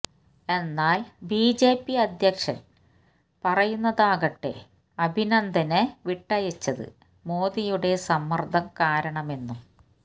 എന്നാല് ബിജെപി അധ്യക്ഷന് പറയുന്നതാകട്ടെ അഭിനന്ദനെ വിട്ടയച്ചത് മോദിയുടെ സമ്മര്ദ്ദം കാരണമെന്നും